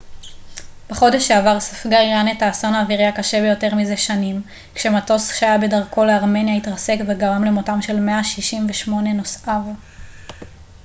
בחודש שעבר ספגה איראן את האסון האווירי הקשה ביותר מזה שנים כשמטוס שהיה בדרכו לארמניה התרסק וגרם למותם של 168 נוסעיו